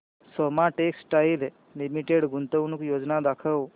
Soma textile limited गुंतवणूक योजना दाखव